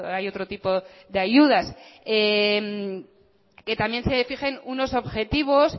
hay otro tipo de ayudas que también se fijen unos objetivo